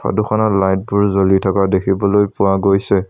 Photo খনত light বোৰ জ্বলি থকা দেখিবলৈ পোৱা গৈছে।